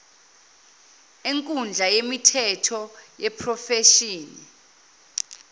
enkundla yemithetho yeprofeshini